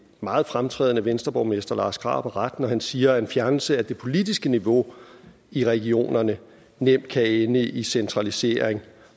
meget fremtrædende venstreborgmester lars krarup har ret når han siger at en fjernelse af det politiske niveau i regionerne nemt kan ende i centralisering